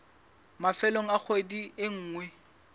mafelong a kgwedi e nngwe